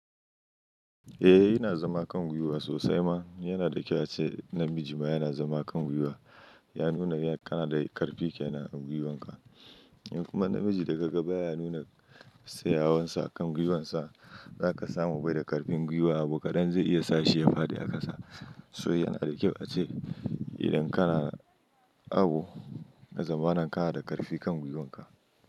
Eh yana zama kan gwiwa sosai ma. Yana da kyau ace namiji ma yana zama kan gwiwa. Ya nuna kana da ƙarfi kenan agwiwanka. In kuma namiji da ka ga baya nuna tsayawarsa a kan gwiwansa, za ka samu bai da ƙarfin gwiwa abokadan zai iya sa shi ya fadi a ƙasa. So yana da kyau ace idan kana abu ka zama nan ka na da ƙarfi kan gwiwanka.